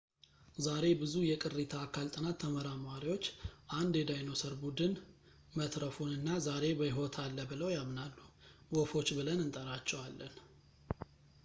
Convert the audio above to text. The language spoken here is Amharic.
ዛሬ ብዙ የቅሪተ አካል ጥናት ተመራማሪዎች አንድ የዳይኖሰር ቡድን መትረፉን እና ዛሬ በሕይወት አለ ብለው ያምናሉ ወፎች ብለን እንጠራቸዋለን